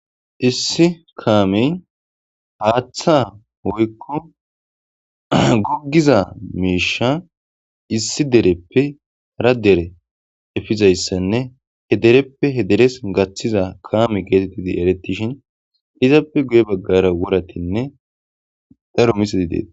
Issi kaamey haaththa woykko guggiza meesha issi dereppe ra dere efizayssanne hedereppe hederes gaththiza kaame geetettidi eretishin izappe guye baggara wuratinne daro misadi deet